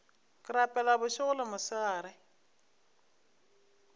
ke rapela bošego le mosegare